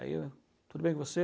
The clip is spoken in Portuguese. Aí eu, tudo bem com você?